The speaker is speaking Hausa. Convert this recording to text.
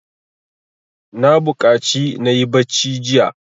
Na buƙaci na yi bacci jiya.